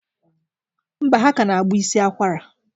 Mba, ha kana agba isi akwara.